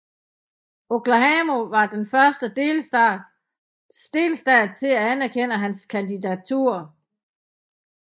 Oklahoma var den første delstat til at anerkende hans kandidatur